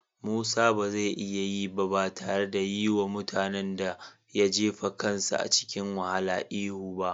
Musa ba zai iya yi ba tare da yi wa mutanen da ya jefa kansa cikin wahala ihu ba.